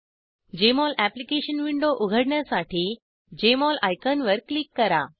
Jmol application window उघडण्यासाठी Jmol आयकॉनवर click करा